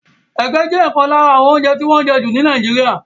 Ege jẹ́ ọ̀kan lára àwọn oúnjẹ tí wọ́n ń jẹ jù ní Nàìjíríà.